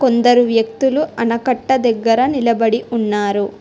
కొందరు వ్యక్తులు ఆనకట్ట దగ్గర నిలబడి ఉన్నారు.